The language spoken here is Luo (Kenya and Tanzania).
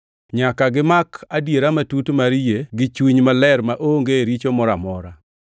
Nyaka gimak adiera matut mar yie gi chuny maler maonge richo moro amora.